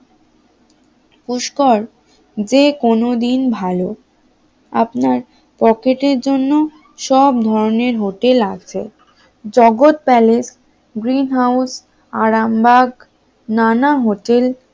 পুষ্কর যেকোনো দিন ভালো আপনার পকেটের জন্য সব ধরনের হোটেল আছে Jagat Palace, Green House, Arambagh নানা হোটেল